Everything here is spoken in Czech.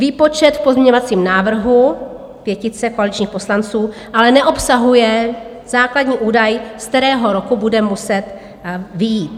Výpočet v pozměňovacím návrhu pětice koaličních poslanců ale neobsahuje základní údaj, z kterého roku bude muset vyjít.